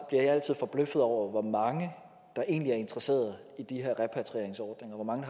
jeg altid forbløffet over hvor mange der egentlig er interesseret i de her repatrieringsordninger hvor mange